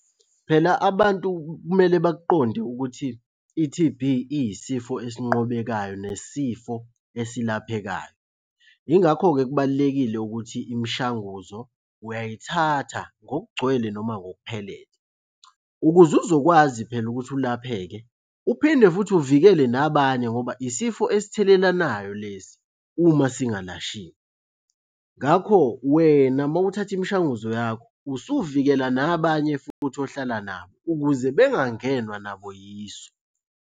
Phela abantu kumele bakuqonde ukuthi i-T_B iyisifo esinqobekayo nesifo esilaphekayo. Yingakho-ke kubalulekile ukuthi imishanguzo uyayithatha ngokugcwele noma ngokuphelele ukuze uzokwazi phela ukuthi ulapheke, uphinde futhi uvikele nabanye ngoba isifo esithelelanayo lesi uma singalashiwe. Ngakho wena uma uthatha imishanguzo yakho, usuvikela nabanye futhi ohlala nabo ukuze bengangenwa nabo yiso.